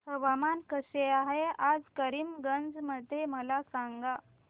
हवामान कसे आहे आज करीमगंज मध्ये मला सांगा